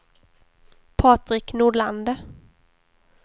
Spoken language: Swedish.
Patrik Nordlander